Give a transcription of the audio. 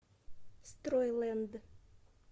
стройлэнд